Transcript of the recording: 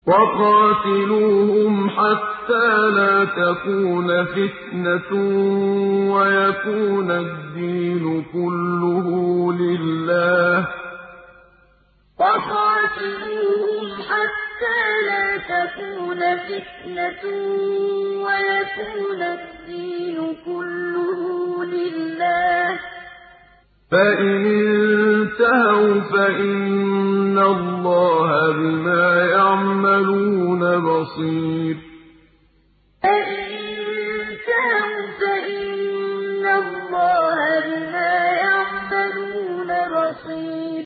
وَقَاتِلُوهُمْ حَتَّىٰ لَا تَكُونَ فِتْنَةٌ وَيَكُونَ الدِّينُ كُلُّهُ لِلَّهِ ۚ فَإِنِ انتَهَوْا فَإِنَّ اللَّهَ بِمَا يَعْمَلُونَ بَصِيرٌ وَقَاتِلُوهُمْ حَتَّىٰ لَا تَكُونَ فِتْنَةٌ وَيَكُونَ الدِّينُ كُلُّهُ لِلَّهِ ۚ فَإِنِ انتَهَوْا فَإِنَّ اللَّهَ بِمَا يَعْمَلُونَ بَصِيرٌ